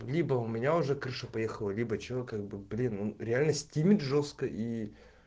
либо у меня уже крыша поехала либо чего как бы блин реально стимет жёстко и